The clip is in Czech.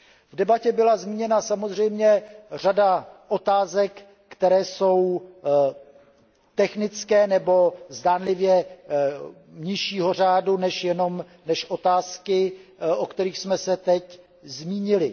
V debatě byla zmíněna samozřejmě řada otázek, které jsou technické nebo zdánlivě nižšího řádu než otázky, o kterých jsme se teď zmínili.